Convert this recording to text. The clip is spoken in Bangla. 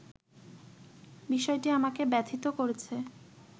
বিষয়টি আমাকে ব্যথিত করেছে